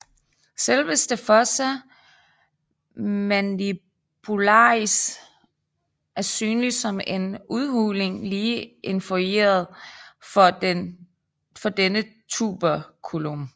Selveste fossa mandibularis er synlig som en en udhulning lige inferiort for denne tuberculum